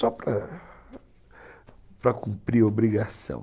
Só para cumprir a obrigação.